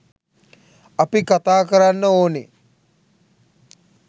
අපි කතාකරන්න ඕනේ